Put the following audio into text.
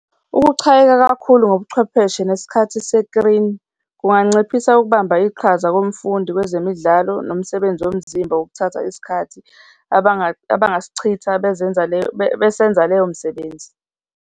Ukuchayeka kakhulu ngobuchwepheshe nesikhathi kunganciphisa ukubamba iqhaza komfundi kwezemidlalo nomsebenzi womzimba wokuthatha isikhathi abangasichitha bezenza leyo, besenza leyo misebenzi.